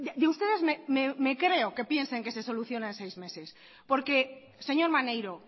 de ustedes me creo que piensen que se soluciona en seis meses porque señor maneiro